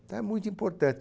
Então é muito importante.